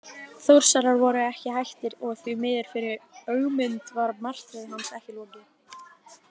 Þórsarar voru ekki hættir og því miður fyrir Ögmund var martröð hans ekki lokið.